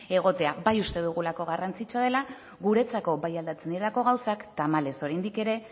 egotea bai uste dugulako garrantzitsua dela guretzako bai aldatzen direlako gauzak tamalez oraindik ere